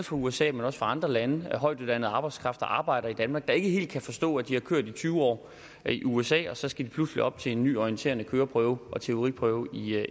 fra usa men også fra andre lande højtuddannet arbejdskraft der arbejder i danmark og som ikke helt kan forstå at de har kørt i tyve år i usa og så skal de pludselig op til en ny orienterende køreprøve og en teoriprøve